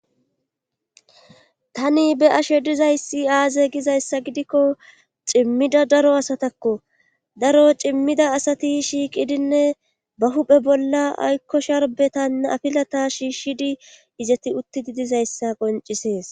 Tani be7ashe duzay aaze gizayssa gidikko cimmida daro asatakko daro cimmida asati shiiqidinne ba huuphe bollan aykko sharbbeta afilat shiishidi izati uttidi dizayssa qonccisees.